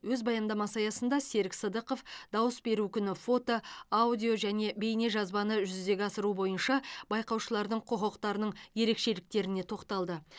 өз баяндамасы аясында серік сыдықов дауыс беру күні фото аудио және бейнежазбаны жүзеге асыру бойынша байқаушылардың құқықтарының ерекшеліктеріне тоқталды